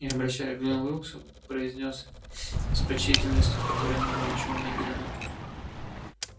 и обращаясь к джону уилксу произнёс с почтительностью в которой не было ничего наигранного